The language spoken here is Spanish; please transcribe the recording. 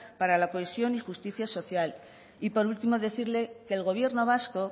para la cohesión y justicia social y por último decirle que el gobierno vasco